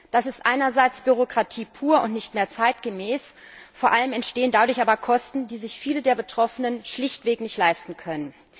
Das ist einerseits Bürokratie pur und nicht mehr zeitgemäß, vor allem entstehen dadurch aber Kosten, die sich viele der Betroffenen schlichtweg nicht leisten können.